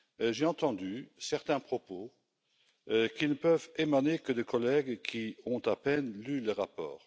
J'ai entendu certains propos qui ne peuvent émaner que de collègues qui ont à peine lu le rapport.